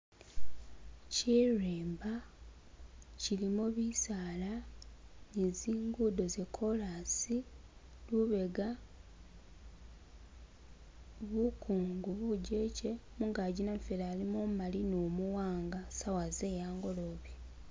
Sirimbaa silimo bisala ne tsingudo tse korasi lubega bukungu bujeche , mungaki namufeli alimo umumali nu muwanga sawa ze angolobe.